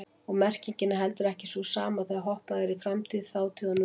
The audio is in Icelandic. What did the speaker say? Og merkingin er heldur ekki sú sama þegar hoppað er í framtíð, þátíð og nútíð.